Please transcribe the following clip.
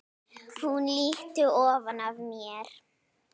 Hún lýtur ofan að mér.